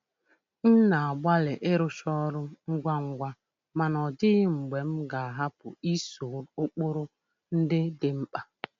M na-agbalị ịrụcha ọrụ ngwa ngwa mana ọ dịghị mgbe m ga-ahapu iso ụkpụrụ ndị dị mkpa.